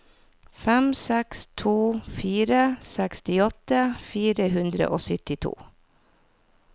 fem seks to fire sekstiåtte fire hundre og syttito